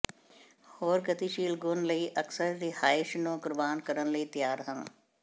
ਹੋਰ ਗਤੀਸ਼ੀਲ ਗੁਣ ਲਈ ਅਕਸਰ ਰਿਹਾਇਸ਼ ਨੂੰ ਕੁਰਬਾਨ ਕਰਨ ਲਈ ਤਿਆਰ ਹਨ